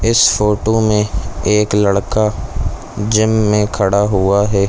इस फोटो में एक लड़का जिम में खड़ा हुआ है।